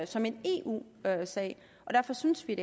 som en eu sag derfor synes vi at